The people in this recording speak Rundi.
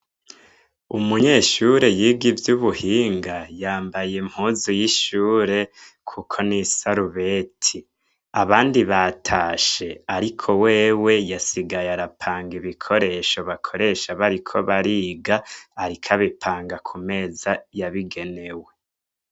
Umunyeshure yiga ivyo ubuhinga yambaye impuzu y'ishure, kuko n'isarubeti abandi batashe, ariko wewe yasigaye arapanga ibikoresho bakoresha bariko bariga arika abipanga ku meza yabigenewe.